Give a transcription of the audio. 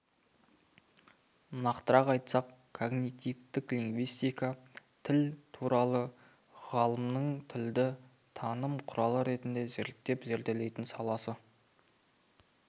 нақтырақ айтсақ когнитивтік лингвистика тіл туралы ғылымның тілді таным құралы ретінде зерттеп-зерделейтін саласы